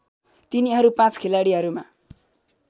तिनीहरू पाँच खिलाडीहरूमा